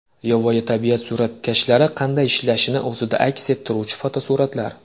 Yovvoyi tabiat suratkashlari qanday ishlashini o‘zida aks ettiruvchi fotosuratlar.